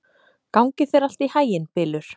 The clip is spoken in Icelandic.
Gangi þér allt í haginn, Bylur.